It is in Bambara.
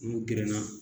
N'u gerenna